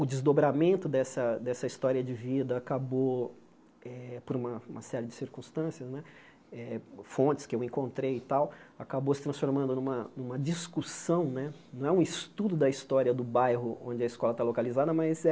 O desdobramento dessa dessa história de vida acabou eh, por uma uma série de circunstâncias né, fontes que eu encontrei e tal, acabou se transformando numa numa discussão né, não é um estudo da história do bairro onde a escola está localizada, mas é